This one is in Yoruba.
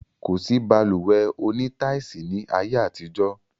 Kosi Balùwẹ́ òní táisì ni ayé àtijọ́